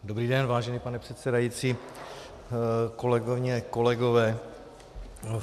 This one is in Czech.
Dobrý den, vážený pane předsedající, kolegyně, kolegové.